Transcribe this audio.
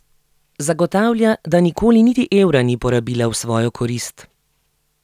Zagotavlja, da nikoli niti evra ni porabila v svojo korist.